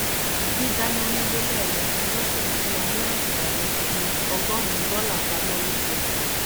dídánà nílé lẹẹmẹta lọsẹ ń fún wa ní àǹfààní fi ọgọrùnún dọlà pamọ lóṣooṣù